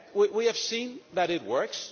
We have seen that it works.